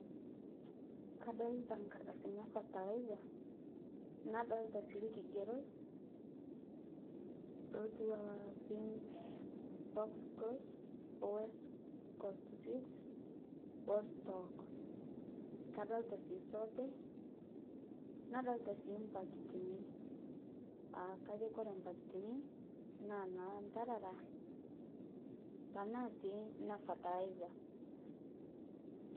Kadolita nkardasini e fertilizer, nadolita sii lkigerot lotuwaa pink, box close west cost seed oo stock kadolita sii soote nadolita sii mpakitini aa kajo kore mpakitinii naa nalantarara tanaa sii ne fertilizer.